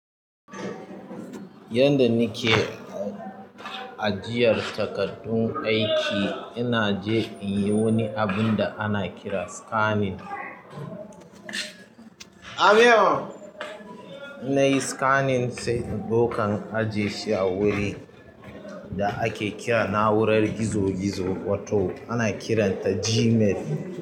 Yadda nike ajiyar takardun aiki ina zuwa in yi wani abun da ake kira scanning. In nayi scanning sai in ɗauka in aje shi a wuri da ake kira na'urar gizo-gizo wato ana kiranta Gmail.